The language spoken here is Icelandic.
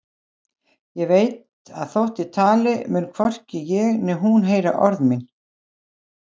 Ég veit að þótt ég tali mun hvorki ég né hún heyra orð mín.